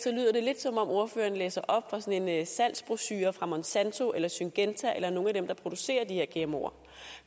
lyder det lidt som om ordføreren læser op fra sådan en salgsbrochure fra monsanto eller syngenta eller nogle af dem der producerer de her gmoer